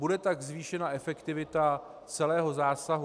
Bude tak zvýšena efektivita celého zásahu.